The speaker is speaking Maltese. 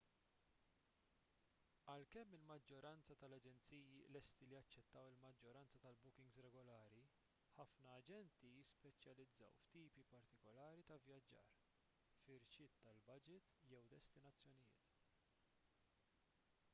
għalkemm il-maġġoranza tal-aġenziji lesti li jaċċettaw il-maġġoranza tal-bookings regolari ħafna aġenti jispeċjalizzaw f'tipi partikulari ta' vvjaġġar firxiet tal-baġit jew destinazzjonijiet